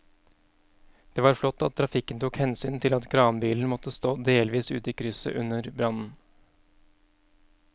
Det var flott at trafikken tok hensyn til at kranbilen måtte stå delvis ute i krysset under brannen.